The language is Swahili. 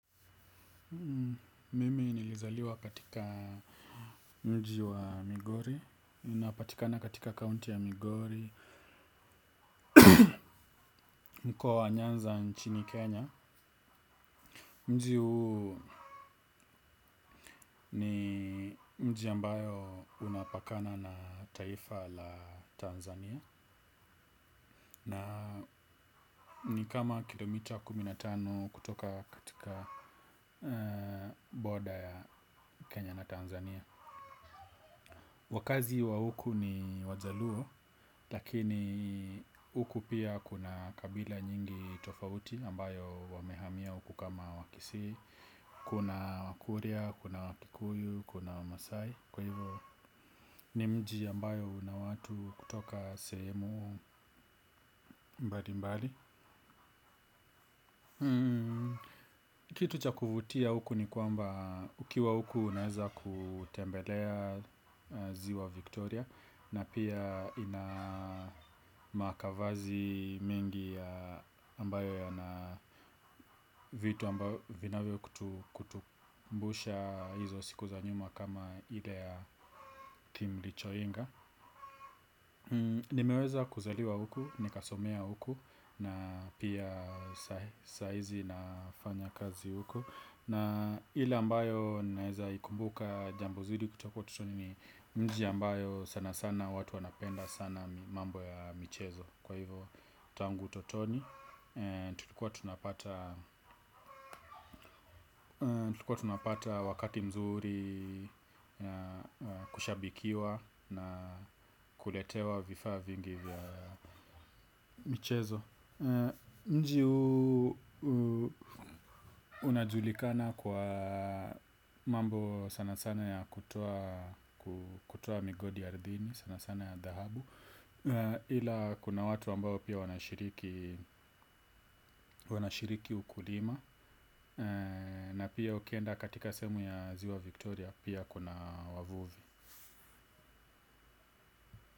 Mimi nilizaliwa katika mji wa Migori. Unapatikana katika kaunti ya Migori. Mkoa wa nyanza nchini Kenya. Mji huu ni mji ambayo unapakana na taifa la Tanzania. Na ni kama kilomita kumi na tano kutoka katika boda ya Kenya na Tanzania. Wakazi wa huku ni wajaluo. Lakini huku pia kuna kabila nyingi tofauti ambayo wamehamia huku kama wakisii. Kuna wakuria, kuna wakikuyu, kuna masai. Kwa hivyo ni mji ambayo una watu kutoka sehemu mbali mbali. Kitu ch akuvutia huku ni kwamba ukiwa huku unaeza kutembelea ziwa Victoria. Na pia ina makavazi mingi ambayo yana vitu ambayo vinavyo kutukumbusha hizo siku za nyuma kama ile ya team lichoinga. Nimeweza kuzaliwa huku, nikasomea huku na pia sahizi nafanya kazi huku. Na ile ambayo naeza ikumbuka jambo zuri kutoka ututoni ni mji ambayo sana sana watu wanapenda sana mambo ya michezo. Kwa hivo tangu ututoni, tulikuwa tunapata wakati mzuri kushabikiwa na kuletewa vifaa vingi vya michezo. Mjii huu unajulikana kwa mambo sana sana ya kutoa kutoa migodi ardhini sana sana ya dhahabu ila kuna watu ambao pia wanashiriki wanashiriki ukulima. Na pia ukienda katika sehemu ya ziwa Victoria pia kuna wavuvi.